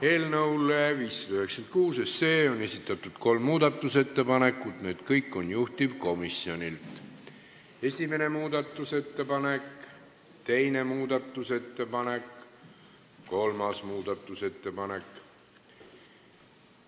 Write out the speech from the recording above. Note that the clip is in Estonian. Eelnõu 596 kohta on esitatud kolm muudatusettepanekut, kõik on juhtivkomisjonilt: esimene muudatusettepanek, teine muudatusettepanek, kolmas muudatusettepanek.